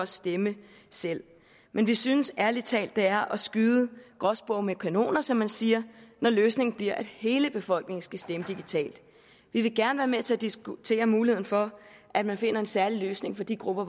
stemme selv men vi synes ærlig talt det er at skyde gråspurve med kanoner som man siger når løsningen bliver at hele befolkningen skal stemme digitalt vi vil gerne være med til at diskutere muligheden for at man finder en særlig løsning for de grupper